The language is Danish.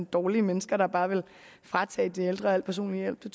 dårlige mennesker der bare vil fratage de ældre al personlig hjælp det